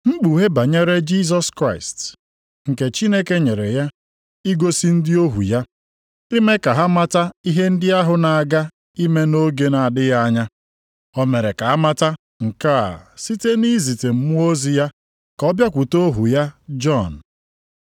Mkpughe banyere Jisọs Kraịst, nke Chineke nyere ya igosi ndị ohu ya, ime ka ha mata ihe ndị ahụ na-aga ime nʼoge na-adịghị anya. O mere ka amata nke a site na izite mmụọ ozi ya ka ọ bịakwute ohu ya Jọn,